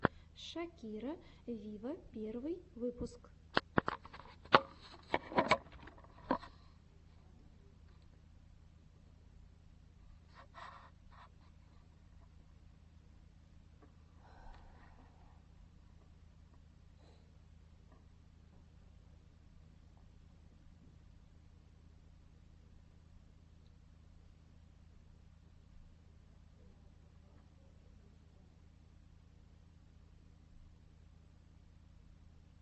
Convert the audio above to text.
шакира виво первый выпуск